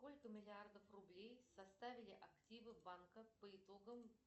сколько миллиардов рублей составили активы банков по итогам